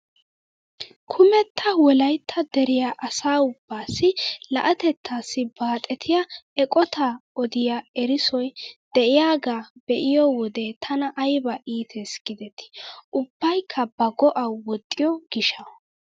Kumetta wolaytta deriyaa asa ubbaasi la'atettaassi baxettiyaa eqotaa odiyaa erissoy de'iyaagaa be'iyo wode tana ayba iites gidetii ubbaykka ba go"awu woxxiyoo giishshawu.